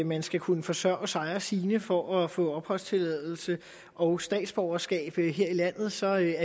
man skal kunne forsørge sig og sine for at få opholdstilladelse og statsborgerskab her i landet så er